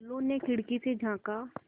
टुल्लु ने खिड़की से झाँका